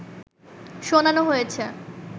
শোনানো হয়েছে